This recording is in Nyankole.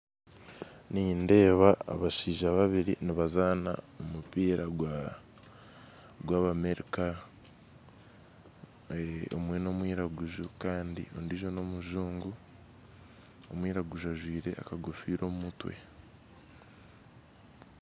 Nindeeba abashaija babiri nibazaana omupiira gwa gw'abamerika eeh omwe n'omwiraguju kandi omwe n'omujungu omwiraguju ajwire akagofira omumutwe.